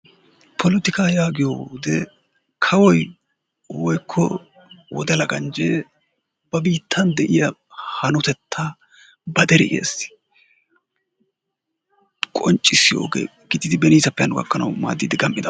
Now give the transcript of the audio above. polotikaa yaagiyode kawoy woykko wodala ganjee ba biittan de'iya hanotettaa ba deriyaassi qoncissiyo oge gididi beniisappe hanno gakkanwu maadiidi de'idaba.